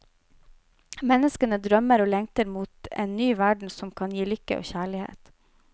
Menneskene drømmer og lengter mot en ny verden som kan gi lykke og kjærlighet.